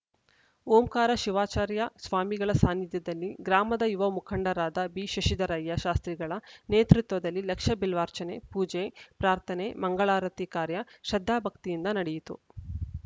ಓಂಕಾರ ಶಿವಾಚಾರ್ಯ ಸ್ವಾಮಿಗಳ ಸಾನ್ನಿಧ್ಯದಲ್ಲಿ ಗ್ರಾಮದ ಯುವ ಮುಖಂಡರಾದ ಬಿಶಶಿಧರಯ್ಯ ಶಾಸ್ತ್ರಿಗಳ ನೇತೃತ್ವದಲ್ಲಿ ಲಕ್ಷ ಬಿಲ್ವಾರ್ಚನೆ ಪೂಜೆ ಪ್ರಾರ್ಥನೆ ಮಂಗಳಾರತಿ ಕಾರ್ಯ ಶ್ರದ್ಧಾಭಕ್ತಿಯಿಂದ ನಡೆಯಿತು